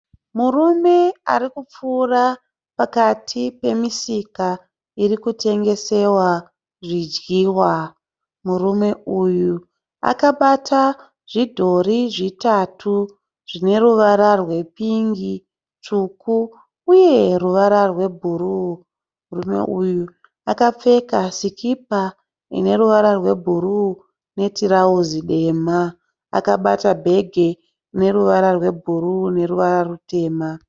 Murume arikupfuura pakati pemisika irikutengesewa zvidyiwa. Murume uyu akabata zvidhori zvitatu zvineruvara rwe pingi, tsvuku uye ruvara rwebhuruwu. Murume uyu akapfeka sikipa ineruvara rwebhuruwu netirauzi dema. Akabata bhegi rineruvara rwebhuruwu neruvara rutema.